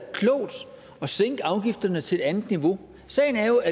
sænke afgifterne til et andet niveau sagen er jo at